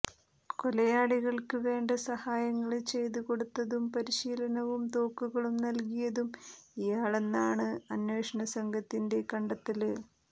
കൊലയാളികള്ക്ക് വേണ്ട സഹായങ്ങള് ചെയ്ത് കൊടുത്തതും പരിശീലനവും തോക്കുകളും നല്കിയതും ഇയാളാണെന്നാണ് അന്വേഷണ സംഘത്തിന്റെ കണ്ടെത്തല്